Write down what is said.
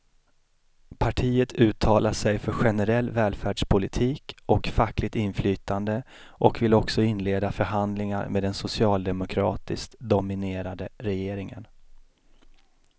Partiet uttalar sig för generell välfärdspolitik och fackligt inflytande och vill också inleda förhandlingar med den socialdemokratiskt dominerade regeringen.